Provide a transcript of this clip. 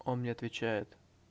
он мне отвечает